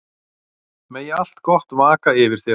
Megi allt gott vaka yfir þér.